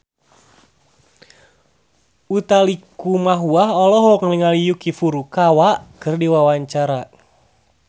Utha Likumahua olohok ningali Yuki Furukawa keur diwawancara